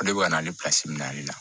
Ale bɛ ka na ale minɛ ale la